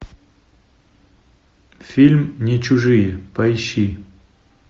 фильм не чужие поищи